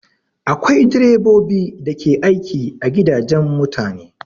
Akwai direbobi da ke aiki a gidajen mutane